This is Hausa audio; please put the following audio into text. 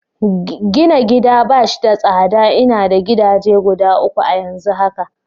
Gina gida bash da tsada, ina da gidaje guda uku a'yanzu haka.